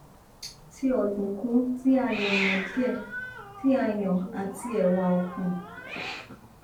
ti ọdunkun ti a yanadie ti a yan ati ewa okun